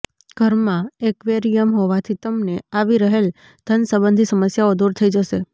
ઘરમાં એક્વેરિયમ હોવાથી તમને આવી રહેલ ધન સંબંધી સમસ્યાઓ દૂર થઈ જશે